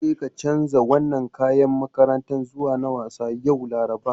Jeka canza wannan kayan makarantar zuwa na wasa, yau Laraba.